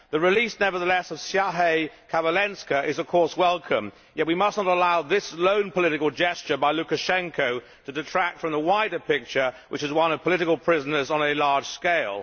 Nevertheless, the release of Siarhei Kavalenka is of course welcome, yet we must not allow this lone political gesture by Lukashenko to detract from the wider picture, which is one of political prisoners on a large scale.